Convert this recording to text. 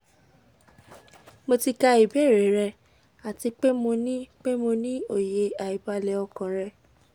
mo ti ka ibeere rẹ ati pe mo ni pe mo ni oye aibale okan rẹ